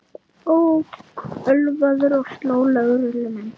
Ók ölvaður og sló lögreglumenn